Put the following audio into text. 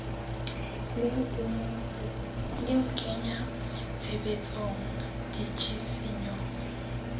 le ho kenya tshebetsong ditshisinyo